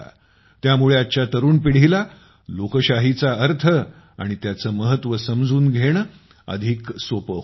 त्यामुळे आजच्या तरुण पिढीला लोकशाहीचा अर्थ आणि त्याचे महत्त्व समजून घेणे अधिक सोपे होईल